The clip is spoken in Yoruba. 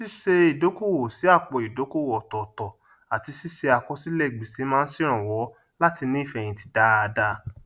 ṣíṣe ìdókòwò sí àpò ìdókòwò ọtọọtọ àti síse àkọsílẹ gbèsè máa sèrànwọ láti ní ìfẹyìntì dáadá